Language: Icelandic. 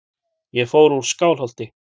Ég fór úr Skálholti.